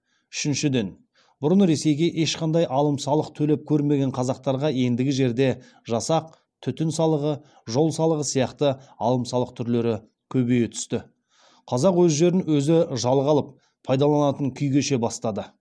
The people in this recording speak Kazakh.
үшіншіден бұрын ресейге ешқандай алым салық төлеп көрмеген қазақтарға ендігі жерде жасақ түтін салығы жол салығы сияқты алым салық түрлері көбейе түсті қазақ өз жерін өзі жалға алып пайдаланатын күй кеше бастады